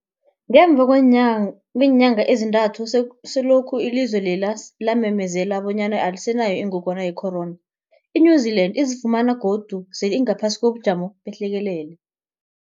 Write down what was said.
Ngemva kweenyanga ezintathu selokhu ilizwe lela lamemezela bonyana alisenayo ingogwana ye-corona, i-New-Zealand izifumana godu sele ingaphasi kobujamo behlekelele.